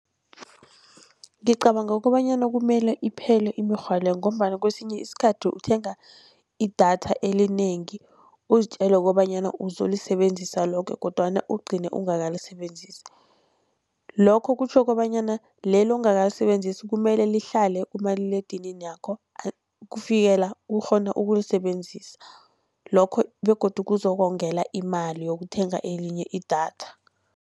Ngicabanga kobanyana kumele iphele imirhwa le, ngombana kwesinye isikhathi uthenga idatha elinengi uzitjele kobanyana uzolisebenzisa loke kodwana ugcine ungakalisebenzisi. Lokho kutjho kobanyana leli ongakalisebenzisi kumele lihlale kumaliledinakho kufikela ukghona ukulisebenzisa. Lokho begodu kuzokongela imali yokuthenga elinye idatha.